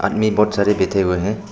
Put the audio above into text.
में बहुत सारे बैठे हुए हैं।